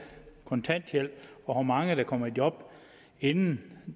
kontanthjælp og hvor mange der kommer i job inden